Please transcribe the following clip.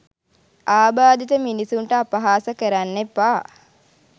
ආබාධිත මිනිස්සුන්ට අපහාස කරන්න එපා